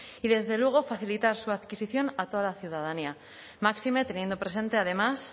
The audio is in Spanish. y desde luego facilitar su adquisición a toda la ciudadanía máxime teniendo presente además